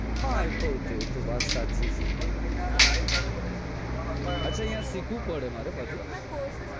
હા એતો વાત સાચી છે અહીંયા